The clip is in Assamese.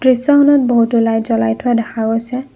দৃশ্যখনত বহুতো লাইট জ্বলাই থোৱা দেখা গৈছে।